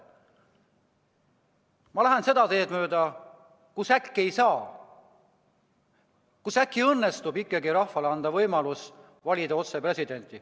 Ma tahan minna seda teed mööda, kus äkki ei saa, kus äkki õnnestub ikkagi anda rahvale võimalus valida otse presidenti.